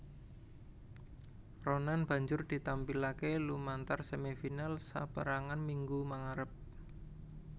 Ronan banjur ditampilaké lumantar semi final saperangan minggu mangarep